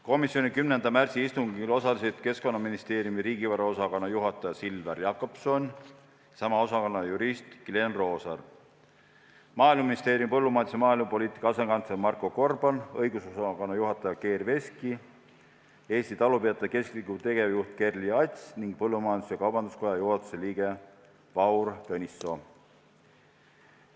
Komisjoni 10. märtsi istungil osalesid Keskkonnaministeeriumi riigivaraosakonna juhataja Silver Jakobson ja sama osakonna jurist Glen Roosaar, Maaeluministeeriumi põllumajandus- ja maaelupoliitika asekantsler Marko Gorban, õigusosakonna juhataja Geir Veski, Eesti Talupidajate Keskliidu tegevjuht Kerli Ats ning põllumajandus-kaubanduskoja juhatuse liige Vahur Tõnissoo.